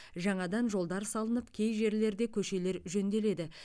жаңадан жолдар салынып кей жерлерде көшелер жөнделеді